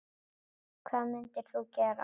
Hvað mundir þú gera?